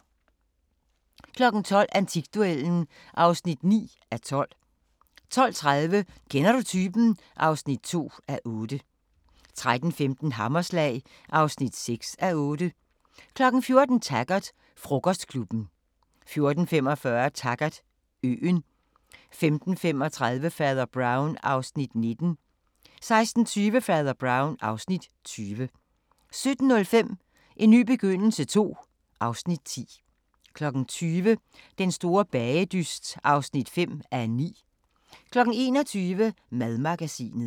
12:00: Antikduellen (9:12) 12:30: Kender du typen? (2:8) 13:15: Hammerslag (6:8) 14:00: Taggart: Frokostklubben 14:45: Taggart: Øen 15:35: Fader Brown (Afs. 19) 16:20: Fader Brown (Afs. 20) 17:05: En ny begyndelse II (Afs. 10) 20:00: Den store bagedyst (5:9) 21:00: Madmagasinet